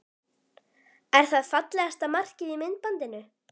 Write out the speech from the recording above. Er það fallegasta markið í myndbandinu?